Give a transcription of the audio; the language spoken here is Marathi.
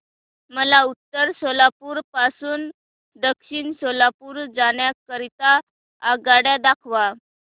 मला उत्तर सोलापूर पासून दक्षिण सोलापूर जाण्या करीता आगगाड्या दाखवा